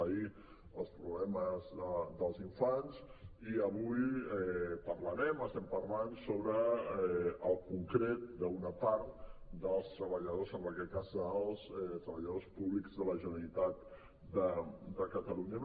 ahir els problemes dels infants i avui parlarem estem parlant sobre el concret d’una part dels treballadors en aquest cas dels treballadors públics de la generalitat de catalunya